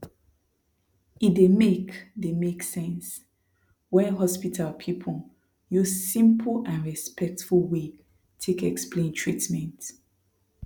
e dey make dey make sense when hospital people use simple and respectful way take explain treatment